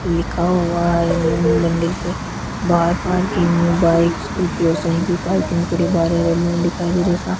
लिखा हुआ है मंदिर पे बाहर पार्किंग में बाइक स्कूटी और साइकिल पार्किंग के बारे में लिखा है मेरे सा --